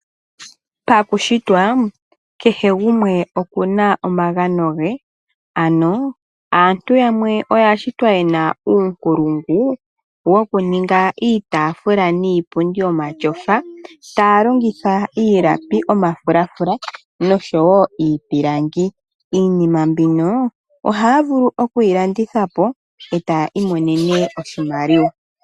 Pakushitwa kehe gumwe okuna omagano ge, ano aantu yamwe oya shitwa yena uunkulungu woku ninga iitafuula niipundi yomatyofa taya longitha iilapi, omafulafula noshowo iipilangi. Iinima mbino ohaya vulu okuyi landitha po e taya imonene oshimaliwa.